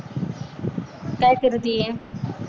काय करतीय?